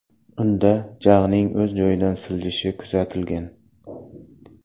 Unda jag‘ning o‘z joyidan siljishi kuzatilgan.